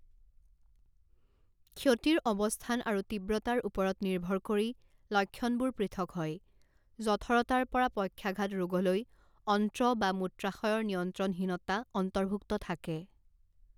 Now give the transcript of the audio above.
ক্ষতিৰ অৱস্থান আৰু তীব্ৰতাৰ ওপৰত নিৰ্ভৰ কৰি, লক্ষণবোৰ পৃথক হয়, জঠৰতাৰ পৰা পক্ষাঘাত ৰোগলৈ, অন্ত্ৰ বা মূত্ৰাশয়ৰ নিয়ন্ত্ৰণহীনতা অন্তৰ্ভূক্ত থাকে।